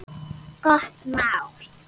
Gott mál.